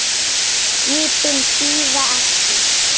Skipin bíða ekki.